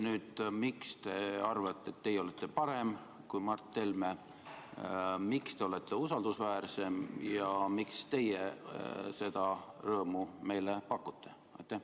Miks te arvate, et teie olete parem kui Mart Helme, miks teie olete usaldusväärsem ja miks teie seda rõõmu meile pakute?